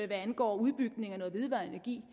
hvad angår udbygningen af noget vedvarende energi